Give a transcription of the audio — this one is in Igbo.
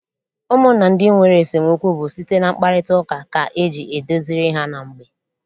Ụmụnna ndị nwere esemokwu bụ site na mkparịtaụka ka eji edoziri ha na mgbe.